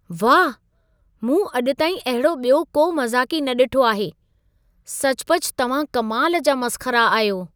वाह! मूं अॼु ताईं अहिड़ो ॿियो को मज़ाक़ी न ॾिठो आहे। सचपच तव्हां कमाल जा मसख़रा आहियो।